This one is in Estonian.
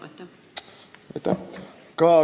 Aitäh!